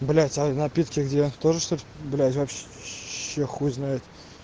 является напитки где то же что блядь вообще че хуй знает